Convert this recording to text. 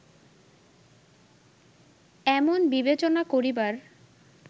এমন বিবেচনা করিবার